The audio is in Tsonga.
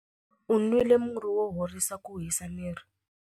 U nwile murhi wo horisa ku hisa miri.